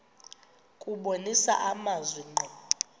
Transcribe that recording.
kubonisa amazwi ngqo